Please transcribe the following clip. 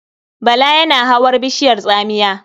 Bala yana hawar bishiyar tsamiya.